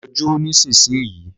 Lọ jó nísinsìnyí